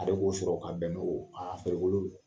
Ale b'o sɔrɔ ka bɛn n'o a farikolo